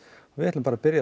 við ætlum að byrja